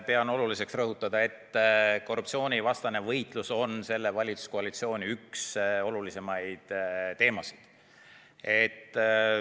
Pean oluliseks rõhutada, et korruptsioonivastane võitlus on selle valitsuskoalitsiooni olulisimaid teemasid.